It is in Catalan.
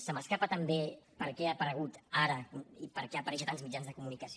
se m’escapa també per què ha aparegut ara i per què apareix a tants mitjans de comunicació